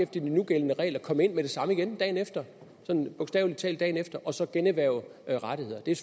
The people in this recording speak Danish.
de nugældende regler komme ind med det samme igen dagen efter bogstavelig talt dagen efter og så generhverve rettigheder det er